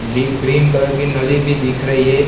ली green colour की नली भी दिख रही है।